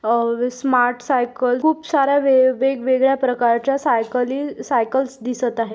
Smart cycle खूप साऱ्या वेग वेगळ्या प्रकारच्या सायकली सायकल्स दिसत आहे.